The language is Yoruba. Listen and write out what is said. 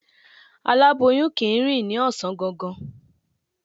Aláboyun kì í rìn ní ọ̀sán gangan.